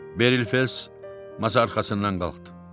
Beril Fells masa arxasından qalxdı.